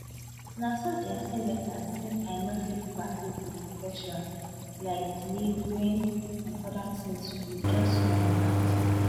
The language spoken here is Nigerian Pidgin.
na so dem send letter say i no fit practice di profession like delivery and oda tins wit just one hand